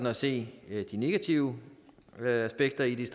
at se de negative aspekter i det